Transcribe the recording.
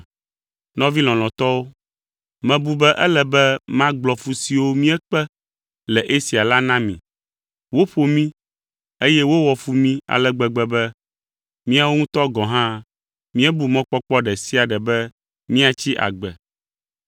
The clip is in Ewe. Nɔvi lɔlɔ̃tɔwo, mebu be ele be magblɔ fu siwo míekpe le Asia la na mi. Woƒo mí, eye wowɔ fu mí ale gbegbe be míawo ŋutɔ gɔ̃ hã míebu mɔkpɔkpɔ ɖe sia ɖe be míatsi agbe.